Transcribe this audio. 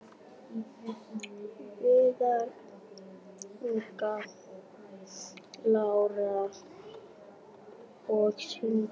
Viðar, Inga Lára og synir.